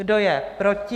Kdo je proti?